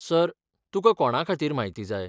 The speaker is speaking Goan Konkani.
सर, तुका कोणाखातीर म्हायती जाय?